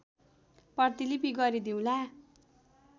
प्रतिलिपि गरिदिउँला